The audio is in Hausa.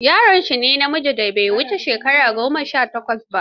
Yaro shi ne namijin da bai wuce shekara goma sha takwas ba.